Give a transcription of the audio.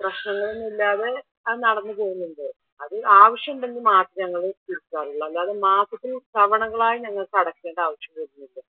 പ്രശ്നങ്ങൾ ഒന്നുല്ലാതെ അത് നടന്ന് പോകുന്നുണ്ട് അത് ആവിശ്യം ഉണ്ടെങ്കിൽ മാത്രേ ഞങ്ങൾ പിരിക്കാറുള്ളു അല്ലാതെ മാസത്തിൽ തവണകളായി ഞങ്ങൾക്ക് അടക്കേണ്ട ആവിശ്യം വരുന്നില്ല.